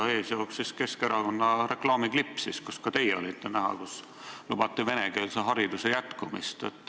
Selle ees jooksis Keskerakonna reklaamiklipp, kus ka teie olite näha ja kus lubati venekeelse hariduse jätkumist.